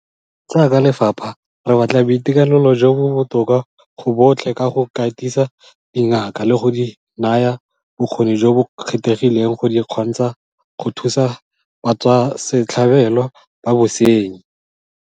Jaaka lefapha, re batla boitekanelo jo bo botoka go botlhe ka go katisa dingaka le go di naya bokgoni jo bo kgethegileng go di kgontsha go thusa batswasetlhabelo ba bosenyi.